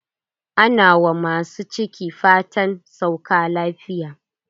Ana wa masu ciki fatan saukar lafiya.